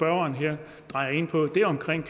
ordentligt